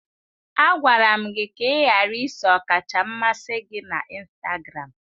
Agwara m gị ka ị ghara iso ọkacha mmasị gị na Instagramu!